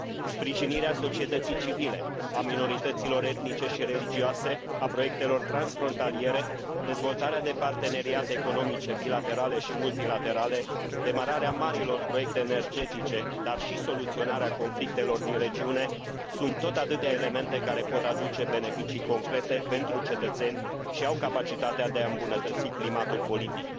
Sprijinirea societății civile, a minorităților etnice și religioase, a proiectelor transfrontaliere, dezvoltarea de parteneriate economice bilaterale și multilaterale, demararea marilor proiecte energetice, dar și soluționarea conflictelor din regiune sunt tot atâtea elemente care pot aduce beneficii concrete pentru cetățeni și au capacitatea de a îmbunătăți climatul politic.